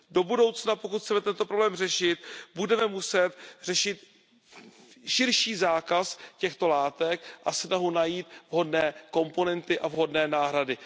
Do budoucna, pokud chceme tento problém řešit, budeme muset řešit širší zákaz těchto látek a snahu najít vhodné komponenty a vhodné náhrady.